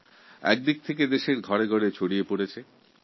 পরিষ্কারপরিচ্ছন্নতার রব প্রতিটি ঘরেই শোনা যাচ্ছে